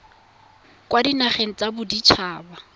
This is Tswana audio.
kwa dinageng tsa bodit haba